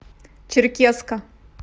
черкесска